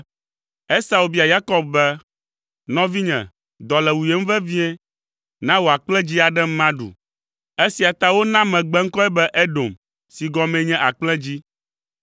Esau bia Yakob be, “Nɔvinye, dɔ le wuyem vevie. Na wò akplẽdzĩ aɖem maɖu.” Esia ta wona megbeŋkɔe be “Edom” si gɔmee nye “Akplẽdzĩ.”